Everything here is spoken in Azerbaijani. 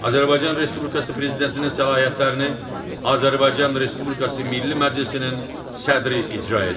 Azərbaycan Respublikası Prezidentinin səlahiyyətlərini Azərbaycan Respublikası Milli Məclisinin sədri icra edir.